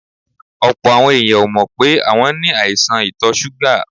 Ọ̀pọ̀ àwọn èèyàn ò mọ́ pé àwọn ní àìsàn ìtọ̀ súgà.